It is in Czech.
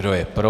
Kdo je pro?